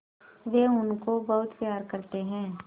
वे उनको बहुत प्यार करते हैं